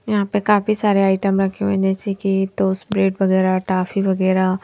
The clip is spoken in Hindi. यहां पे काफी सारे आइटम रखे हुए जैसे कि तोस ब्रेड वगैरा टॉफी वगैरा--